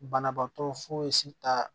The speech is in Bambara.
Banabaatɔ fosi ta